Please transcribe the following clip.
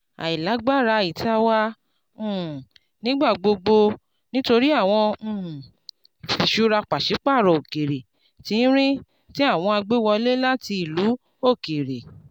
àìlágbára ìta wa um nígbà gbogbo nítorí àwọn um ifiṣura pàṣípààrọ̀ òkèèrè tínrín tí àwọn agbéwọlé láti ìlú òkèèrè.